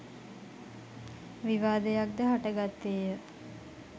විවාදයක් ද හටගත්තේ ය.